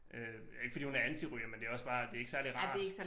Øh ikke fordi hun er antiryger men det også bare det ikke særlig rart